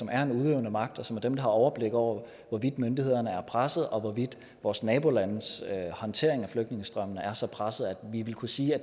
er den udøvende magt og som er dem der har overblik over hvorvidt myndighederne er presset og hvorvidt vores nabolandes håndtering af flygtningestrømmen er så presset at vi ville kunne sige at